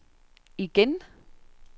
igen